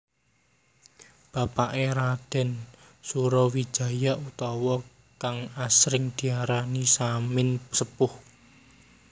Bapaké Raden Surowijaya utawa kang asring diarani Samin Sepuh